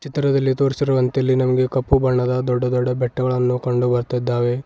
ಚಿತ್ರದಲ್ಲಿ ತೋರಿಸಿರುವಂತೆ ಇಲ್ಲಿ ನಮ್ಗೆ ಕಪ್ಪು ಬಣ್ಣದ ದೊಡ್ಡ ದೊಡ್ಡ ಬೆಟ್ಟಗಳನ್ನು ಕಂಡು ಬರ್ತ್ತಿದ್ದಾವೆ.